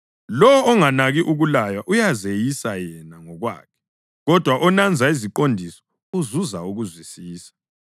Lowo onganaki ukulaywa uyazeyisa yena ngokwakhe, kodwa onanza iziqondiso uzuza ukuzwisisa.